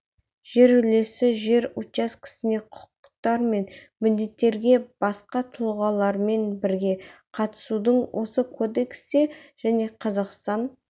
жер үлесі жер учаскесіне құқықтар мен міндеттерге басқа тұлғалармен бірге қатысудың осы кодексте және қазақстан